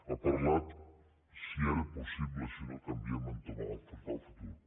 ha parlat de si era possible si no canviem entomar afrontar el futur